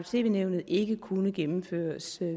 tv nævnet ikke kunne gennemføres